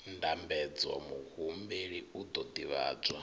ndambedzo muhumbeli u ḓo ḓivhadzwa